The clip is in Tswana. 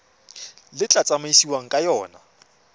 le tla tsamaisiwang ka yona